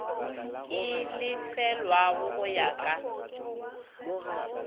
e lefelwago go ya ka